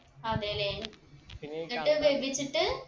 അതെല്ലേ എന്നിട്ട് വേവിച്ചിട്ട്